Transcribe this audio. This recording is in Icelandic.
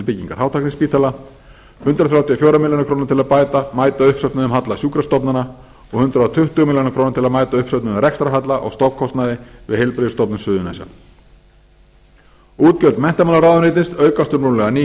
byggingar fátækraspítala hundrað þrjátíu og fjórar milljónir króna til að mæta uppsöfnuðum halla sjúkrastofnana og hundrað tuttugu milljónir króna til að mæta uppsöfnuðum rekstrarhalla á stofnkostnaði við heilbrigðisstofnun suðurnesja útgjöld menntamálaráðuneytis aukast um rúmlega níu